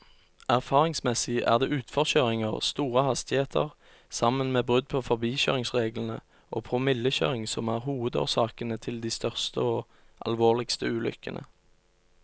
Erfaringsmessig er det utforkjøringer, store hastigheter sammen med brudd på forbikjøringsreglene og promillekjøring som er hovedårsakene til de største og alvorligste ulykkene.